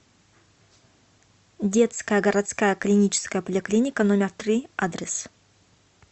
детская городская клиническая поликлиника номер три адрес